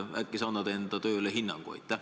Äkki sa annad enda tööle hinnangu?